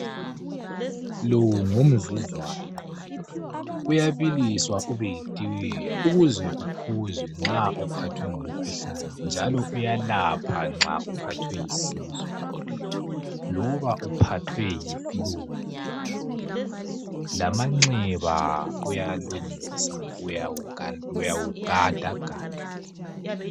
Lowu ngumsuzwane uyabiliswa ube yitiye ukuze uphuzwe nxa uphathwe ngumkhuhlane njalo uyalapha nxa uphathwe yisisu loba uphathwe yifulu. Lamanxeba uyalungisa uyawugadagada.